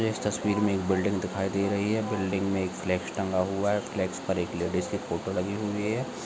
इस तस्वीर मे एक बिल्डिंग दिखाई दे रही है बिल्डिंग मे एक स्लैक्स टंगा हुआ है स्लैक्स पर एक लेडीज की फोटो लगी हुई है।